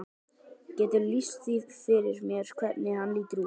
Geturðu lýst því fyrir mér hvernig hann lítur út?